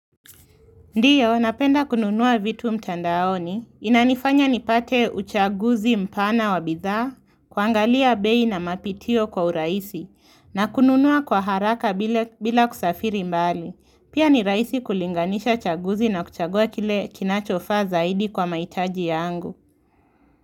Ndio napenda kununua vitu mtandaoni. Inanifanya nipate uchaguzi mpana wa bidhaa, kuangalia bei na mapitio kwa urahisi, na kununua kwa haraka bila kusafiri mbali. Pia ni rahisi kulinganisha chaguzi na kuchagua kile kinachofaa zaidi kwa mahitaji yangu.